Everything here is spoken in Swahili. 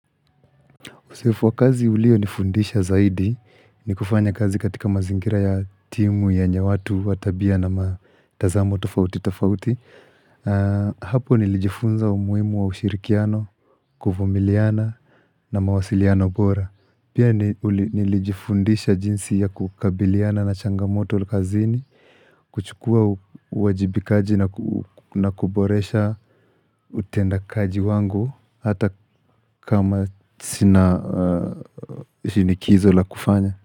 Uzoefu wa kazi ulionifundisha zaidi ni kufanya kazi katika mazingira ya timu yenye watu wa tabia na matazamo tofauti tofauti. Hapo nilijifunza umuhimu wa ushirikiano, kuvumiliana na mawasiliano bora. Pia nilijifundisha jinsi ya kukabiliana na changamoto kazini kuchukua uwajibikaji na kuboresha utendakaji wangu Hata kama sina shinikizo la kufanya.